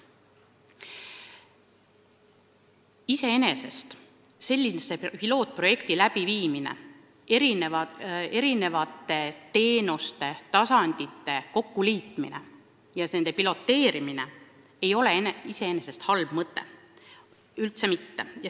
Iseenesest ei ole sellise pilootprojekti korraldamine, eri teenuste ja tasandite kokkuliitmine ning kõige selle piloteerimine halb mõte – üldse mitte!